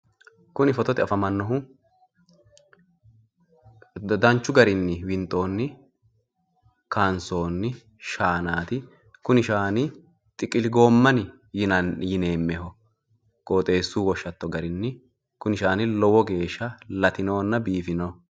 kuni fotote afamannohu danchu garinni winxoonni kaansoonni shaanaati. kuni shaani xiqili goomeni yineemmmoho qooxeessu woshshatto garinni. kuni shaani lowo geeshsha latinohonna biifinoho.